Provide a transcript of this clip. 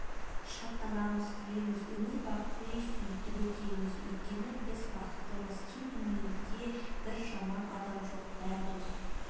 шаттанамыз күлеміз өмірбақи сөйтіп өтеміз өйткен біз бақыттымыз кең дүниеде бір жаман адам жоқ бәрі дос